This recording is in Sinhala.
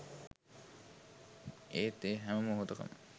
ඒත් ඒ හැම මොහොතකම